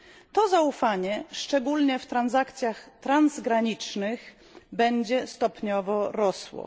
To zaufanie, szczególnie w transakcjach transgranicznych, będzie stopniowo rosło.